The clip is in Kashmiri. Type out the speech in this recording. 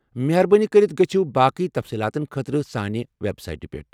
مہربٲنی کٔرتھ گٔژھِو باقٕے تفصیٖلاتن خٲطرٕ سانہِ وٮ۪بسایٹہِ پٮ۪ٹھ۔